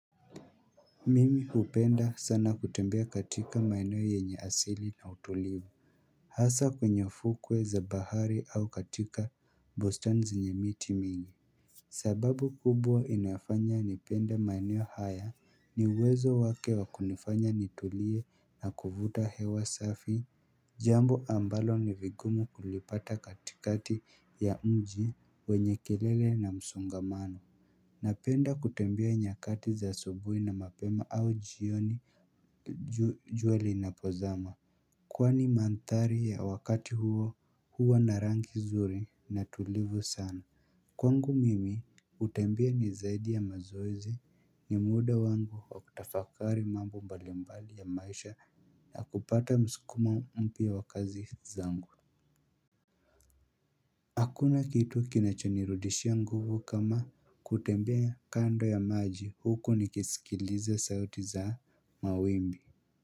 Mimi upenda sana kutembea katika maeneo yenye asili na utulivu Hasa kwenye ufukwe za bahari au katika bustani zenye miti mingi sababu kubwa inayofanya nipende maeneo haya ni uwezo wake wa kunifanya nitulie na kuvuta hewa safi Jambo ambalo ni vigumu kulipata katikati ya mji wenye kelele na msongamano Napenda kutembea nyakati za asubuhi na mapema au jioni jua linapo zama Kwani manthari ya wakati huo huwa na rangi zuri na tulivu sana Kwangu mimi kutembea ni zaidi ya mazoezi ni muda wangu wa kutafakari mambo mbali mbali ya maisha na kupata mskumo mpya wa kazi zangu Hakuna kitu kinachonirudishia nguvu kama kutembea kando ya maji huko nikisikiliza sauti za mawimbi.